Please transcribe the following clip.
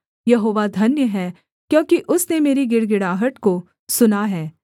यहोवा धन्य है क्योंकि उसने मेरी गिड़गिड़ाहट को सुना है